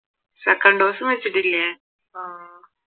second ഡോസും വെച്ചിട്ടില്ലേ?